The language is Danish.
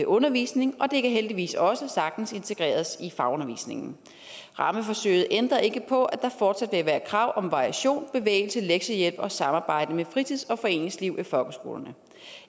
undervisning og det kan heldigvis også sagtens integreres i fagundervisningen rammeforsøget ændrer ikke på at der fortsat vil være krav om variation bevægelse lektiehjælp og samarbejde med fritids og foreningsliv i folkeskolerne